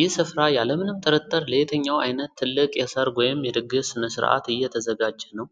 ይህ ስፍራ ያለምንም ጥርጥር ለየትኛው ዓይነት ትልቅ የሰርግ ወይም የድግስ ሥነ-ስርዓት የተዘጋጀ ነው?